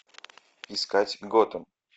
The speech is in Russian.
искать готэм